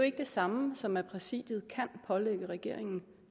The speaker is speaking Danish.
ikke det samme som at præsidiet kan pålægge regeringen